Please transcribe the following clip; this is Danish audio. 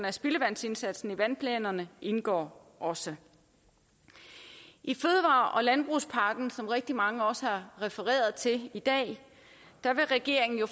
af spildevandsindsatsen i vandplanerne indgår også i fødevare og landbrugspakken som rigtig mange også har refereret til i dag vil regeringen jo